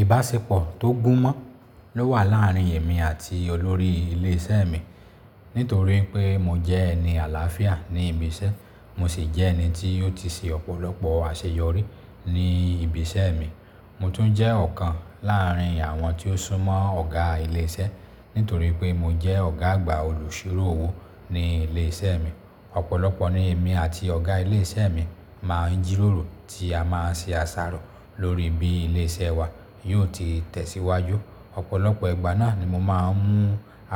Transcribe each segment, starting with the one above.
Ìbáṣepọ̀ tó gún mọ́ ló wà láàárín èmi àti olórí ilé iṣẹ́ mi. Nítorí pé mo jẹ́ ẹni àlàáfíà ní ibi iṣẹ́, mo sì jẹ́ ẹni tí ó ti ṣe ọ̀pọ̀lọpọ̀ àṣeyọrí ní ibi iṣẹ́ mi. Mo tún jẹ́ ọ̀kan láàrín àwọn tí ó súnmọ́ ọ̀gá ilé iṣẹ́, nítorí pé mo jẹ́ ọ̀gá àgbà olùṣirò owó ní ilé iṣẹ́ mi. Ọ̀pọ̀lọpọ̀ ni èmi àti ọ̀gá ilé iṣẹ́ mi máa ń jíròrò tí a máa ń ṣe àṣàrò lóri bí ilé iṣẹ́ wa yóò ti tẹ̀síwájú. Ọ̀pọ̀lọpọ̀ ìgbà náà ni mo máa ń mú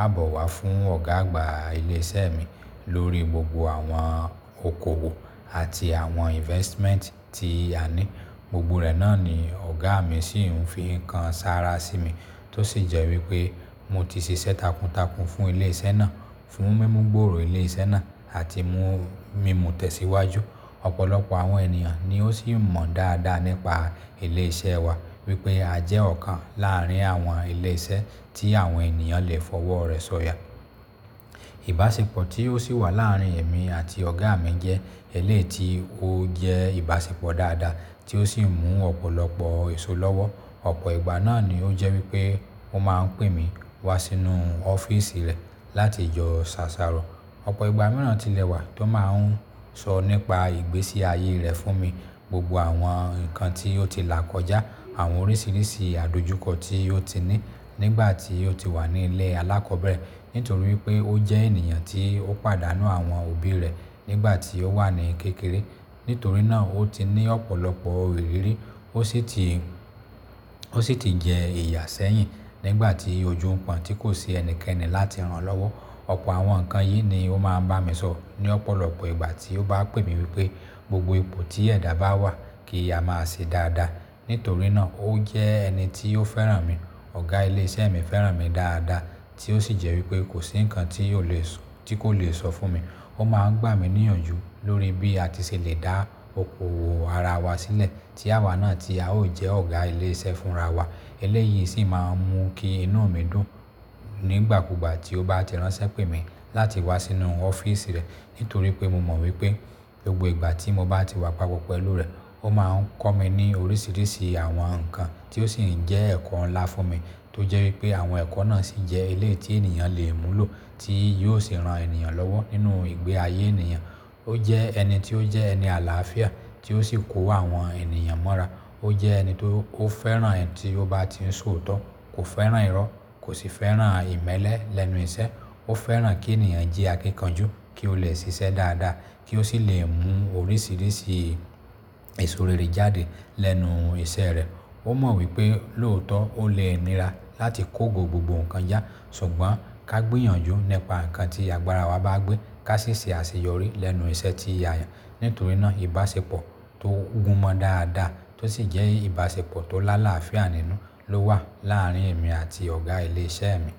àbọ̀ wá fún ọ̀gá àgbà ilé iṣẹ́ mi lórí gbogbo àwọn okòwò àti àwọn investment tí a ní. Gbogbo rẹ̀ náà ni ọ̀gá mi sì ń fi ń kan sára sí mi tó sì jẹ́ wípé mo ti ṣiṣẹ́ takuntakun fún ilé iṣẹ́ náà, fún mímú gbòòrò ilé iṣẹ́ náà àti mú u mìmu tẹ̀síwájú. Ọ̀pọ̀lọpọ̀ àwọn ènìyàn ni ó sì mọ̀ dáadáa nípa ilé iṣẹ́ wa wípé a jẹ́ ọ̀kan láàrín àwọn ilé iṣẹ́ tí àwọn ènìyàn lè fọwọ́ rẹ̀ sọ̀yà. Ìbáṣepọ̀ tí ó sì wà láàrín èmi àti ọ̀gá mi jẹ́ eleyi tí ó jẹ́ ìbáṣepọ̀ dáadáa tí ó sì mú ọ̀pọ̀lọpọ̀ èso lọ́wọ́. Ọ̀pọ̀ ìgbà náà ni ó jẹ́ wípé ó máa ń pè mí wá sínú ọ́fíísì rẹ̀ láti jọ ṣàṣàrò. Ọ̀pọ̀ ìgbà mìíràn tilẹ̀ wà tó máa ń sọ nípa ìgbésí ayé rẹ̀ fún mi, gbogbo àwọn nǹkan tí ó ti là kọjá, àwọn oríṣiríṣi àdojúkọ tí ó ti ní nígbà tí ó ti wà ní ilé alákọbẹ̀rẹ̀. Nítorí pé ó jẹ́ ènìyàn tí ó pàdánù àwọn òbí rẹ̀ nígbà tí ó wà ní kékeré. Nítorí náà ó ti ní ọ̀pọ̀lọpọ̀ ìrírí, ó sì ti, ó sì ti jẹ iyà sẹ́yìn nígbà tí ojú ń pọ̀n tí kò sí ẹnikẹ́ni láti rán lọ́wọ́. Ọ̀pọ̀ àwọn nǹkan yìí ni ó máa ń bá mi sọ ní ọ̀pọ̀lọpọ̀ ìgbà tí ó bá pè mí wípé gbogbo ipò tí ẹ̀dá bá wà kì í a máa ṣe dáadáa. Nítorí náà ó jẹ́ ẹni tí ó fẹ́ràn mi. Ọ̀gá ilé iṣẹ́ mi fẹ́ràn mi dáadáa tí ó sì jẹ́ wípé kò sí nǹkan tí yóò le sọ, tí kò le sọ fún mi. Ó máa ń gbà mí níyànjú lórí bí a ti ṣe le dá okòwò ara wa sílẹ̀ tí àwa náà tí a ó jẹ́ ọ̀gá ilé iṣẹ́ fún ra wa. Ẹlẹ́yi sì máa ń mú kí inú mi dùn nígbàkúgbà tí ó bá ti ránṣẹ́ pè mí láti wá sínú ọ́fíísì rẹ̀. Nítorí pé mo mọ̀ wípé gbogbo ìgbà tí mo bá ti wá papọ̀ pẹ̀lú rẹ̀, ó máa ń kọ́ mi ní oríṣiríṣi àwọn nǹkan tí ó sì ń jẹ́ ẹ̀kọ́ ńlá fún mi tó jẹ́ wípé àwọn ẹ̀kọ́ náà sì jẹ́ eléyi tí ènìyàn lè múlò tí yóò sì ran ènìyàn lọ́wọ́ nínú ìgbé ayé ènìyàn. Ó jẹ́ ẹni tí ó jẹ́ ẹni àlàáfíà tí ó sì kó àwọn ènìyàn mọ́ra. Ó jẹ́ ẹni tó fẹ́ràn ẹni tí ó bá ti ń sọ òótọ́, kò fẹ́ràn irọ́, kò sì fẹ́ràn ìmẹ́lẹ́ lẹ́nu iṣẹ́. Ó fẹ́ràn kí ènìyàn jí akíkanjú kí ó le ṣiṣẹ́ dáadáa kí ó sì lè mú oríṣiríṣi eso rere jáde lẹ́nu iṣẹ́ rẹ̀. Ó mọ̀ wípé lóòótọ́ ó le nira láti kógo gbogbo nǹkan já ṣùgbọ́n ká gbìyànjú nípa nǹkan tí àgbára wa bá gbé ká sì ṣe àṣeyọrí lẹ́nu iṣẹ́ ti a yan. Nítorí náà ìbáṣepọ̀ tó gún mọ́ dáadáa tó sì jẹ́ ìbáṣepọ̀ tó lá láàáfíà nínú ló wà láàrín èmi àti ọ̀gá ilé iṣẹ́ mi.